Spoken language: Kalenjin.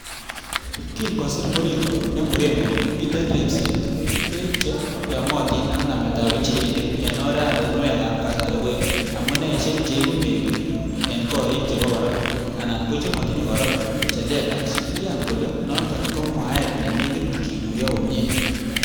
Kin kosir Murigo nemuren kole miten ribset, beek che yomotin ak nametab injirenik en oratinwekab kasari koik amuneisiek che iibu meng'ik rn gorik chebo goropa ana kochemotinye goropa che lelach, kiyan kole noton ko mwaet nenekit kikuyo komie.